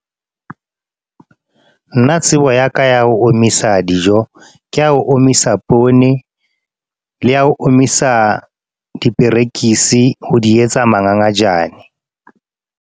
Nna tsebo ya ka ya ho omisa dijo. Ke ya ho omisa poone le ya ho omisa diperekisi ho di etsa mangangajane.